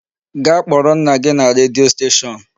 Gaa kpọrọ nna gị na redio station.